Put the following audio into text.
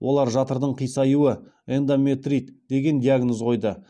олар жатырдың қисаюы эндометрит деген диагноз қойды